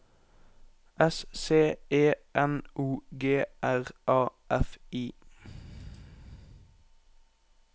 S C E N O G R A F I